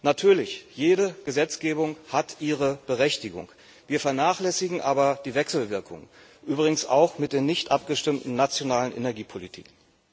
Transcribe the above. Natürlich, jede Gesetzgebung hat ihre Berechtigung, wir vernachlässigen aber die Wechselwirkungen, übrigens auch mit den nichtabgestimmten nationalen Energiepolitiken.